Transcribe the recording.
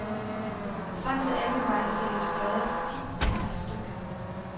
Frem til anden maj sælges lodder for ti kroner per styk.